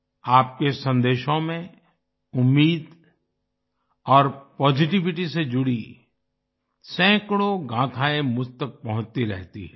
आपके संदेशों में उम्मीद और पॉजिटिविटी से जुड़ी सैकड़ों गाथाएं मुझ तक पहुंचती रहती हैं